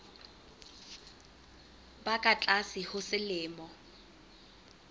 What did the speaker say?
ba ka tlase ho selemo